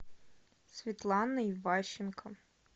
светлана иващенко